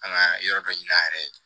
An ka yɔrɔ dɔ yira a yɛrɛ ye